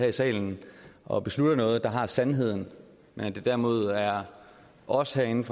i salen og beslutter noget der har sandheden men at det derimod er os herinde